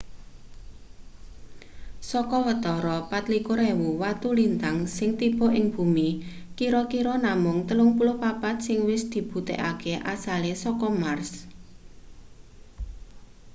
saka watara 24.000 watu lintang sing tiba ing bumi kira-kira namung 34 sing wis dibuktekake asale saka mars